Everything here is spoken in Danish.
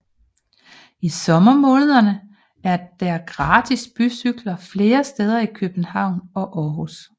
I sommermånederne er der gratis bycykler flere steder i København og Aarhus